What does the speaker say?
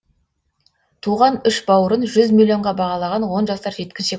туған үш бауырын жүз миллионға бағалаған он жасар жеткіншек